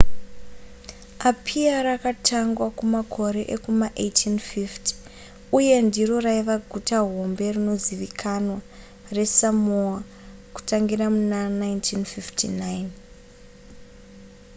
apia rakatangwa kumakore ekuma 1850 uye ndiro raiva guta hombe rinozivikanwa resamoa kutangira muna 1959